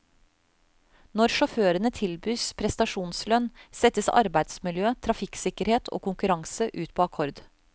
Når sjåførene tilbys prestasjonslønn, settes arbeidsmiljø, trafikksikkerhet og konkurranse ut på akkord.